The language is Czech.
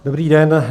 Dobrý den.